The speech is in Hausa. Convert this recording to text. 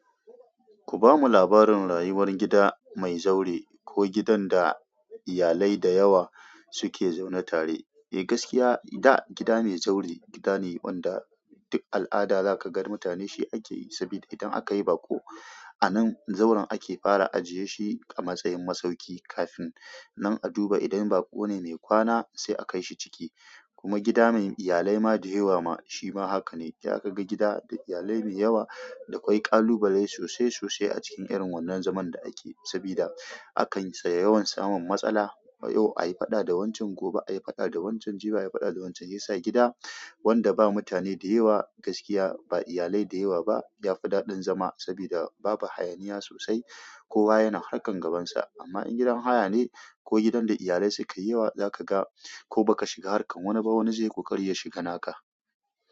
Ku bamu labarin rayuwar gida mai zaure ko gidan da iyalai da yawa suke zaune tare. Eh gaskiya da gida mai zaure gidane wanda duk al'ada za kaga mutane shi akeyi sabida idan akayi baƙo anan zauren ake fara ajiye shi a matsayin masauki kafin nan a duna idan baƙo ne mai kwana sai a kaishi ciki kuma gida mai iyalai ma da yawa ma shi ma haka ne. Ya ka ga gida da iyalai me yawa da kwai ƙalubale sosai sosai a cikin irin wannan zaman da ake, sabida akan saya yawan samun matsala. Yau ai faɗa da wancan, gobe ai faɗa da wancan, jibi ai faɗa da wancan, hiyasa gida wanda ba mutane da yawa gaskiya ba iyalai da yawa ba, ya fi daɗin zama sabida babu hayaniya sosai kowa yana harkan gabansa. Amma in gidan hayane ko gidan da iyalai sukayi yawa, zaka ga ko baka shiga harkan wani ba wani zai ƙoƙari ya shiga naka.